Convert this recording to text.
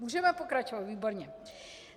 Můžeme pokračovat, výborně.